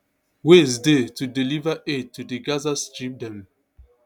ways dey to deliver aid to di gaza strip dem